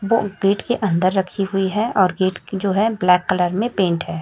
और गेट के अंदर रखी हुई है और गेट की जो है ब्लैक कलर में पेंट है।